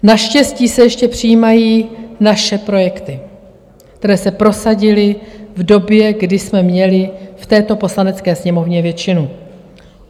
Naštěstí se ještě přijímají naše projekty, které se prosadily v době, kdy jsme měli v této Poslanecké sněmovně většinu.